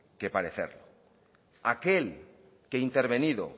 que parecer aquel que intervenido